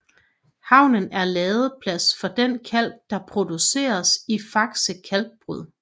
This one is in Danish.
Havnen er ladeplads for den kalk der produceres i Faxe Kalkbrud